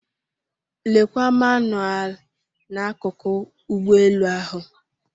Lekwa manụaalụ n'akụkụ ụgbọelu ahụ.